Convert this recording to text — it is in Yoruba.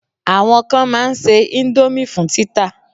Àwọn kan ma n ṣe indomie fún títà